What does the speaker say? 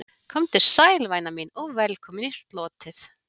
Komdu sæl, væna mín, og velkomin í slotið.